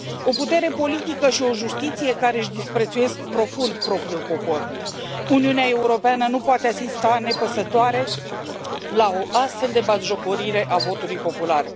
O putere politică și o justiție care își disprețuiesc profund propriul popor Uniunea Europeană nu poate asista nepăsătoare la o astfel de batjocorire a votului popular.